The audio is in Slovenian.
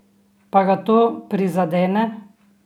Pa ga to prizadene?